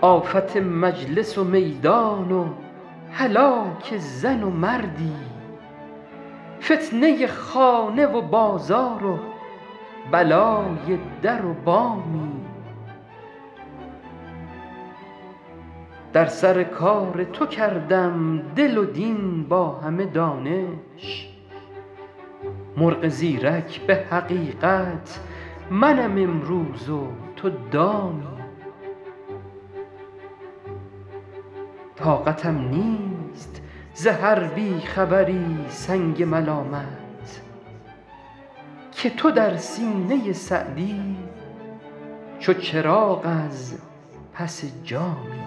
آفت مجلس و میدان و هلاک زن و مردی فتنه خانه و بازار و بلای در و بامی در سر کار تو کردم دل و دین با همه دانش مرغ زیرک به حقیقت منم امروز و تو دامی طاقتم نیست ز هر بی خبری سنگ ملامت که تو در سینه سعدی چو چراغ از پس جامی